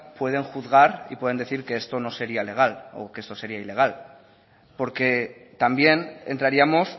pueden juzgar y pueden decir que esto no sería legal o que esto sería ilegal porque también entraríamos